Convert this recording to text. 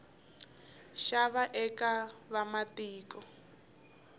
nxava eka vamatiko